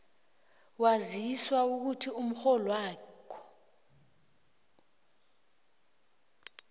waziswa ukuthi umrholwakho